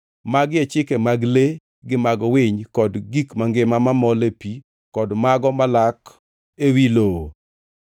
“ ‘Magi e chike mag le gi mag winy, kod gik mangima mamol ei pi, kod mago malak ewi lowo.